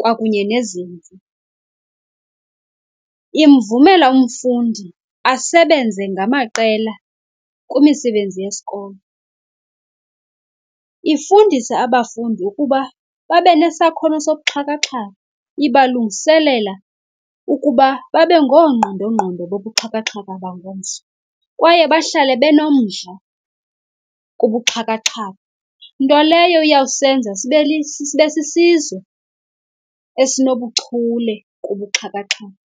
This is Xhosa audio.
kwakunye nezimvo. Imvumela umfundi asebenze ngamaqela kumisebenzi yesikolo. Ifundisa abafundi ukuba babe nesakhono sobuxhakaxhaka, ibalungiselela ukuba babe ngoongqondongqondo bobuxhakaxhaka bangomso, kwaye bahlale benomdla kubuxhakaxhaka nto leyo iyawusenza sibe , sibe sisizwe esinobuchule kubuxhakaxhaka.